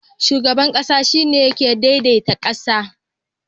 Shugaban ƙasa shine yake dai dai ta ƙasa